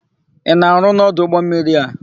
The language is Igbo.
Ị na-arụ n'ọdụ ụgbọmmiri a?